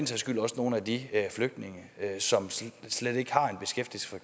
skyld også nogle af de flygtninge som slet ikke har